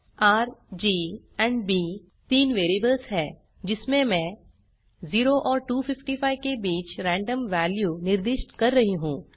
R G और B तीन variables हैं जिसमें मैं 0 और 255 के बीच रेन्डम वैल्यूज निर्दिष्ट कर रही हूँ